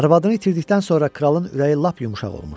Arvadını itirdikdən sonra kralın ürəyi lap yumşaq olmuşdu.